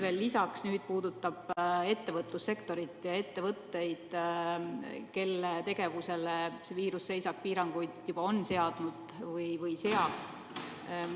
Mu teine küsimus puudutab nüüd ettevõtlussektorit ja ettevõtteid, kelle tegevus selle viiruse tõttu seisab või on piiratud.